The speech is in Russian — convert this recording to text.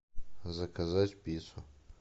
заказать пиццу